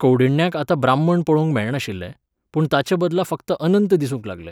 कौंडिण्याक आतां ब्राह्मण पळोवंक मेळनाशिल्ले, पूण ताचेबदला फकत अनंत दिसूंक लागले.